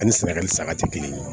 Ani sɛnɛgali saga te kelen ye